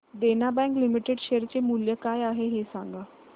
देना bank limited share चे मूल्य काय आहे हे सांगा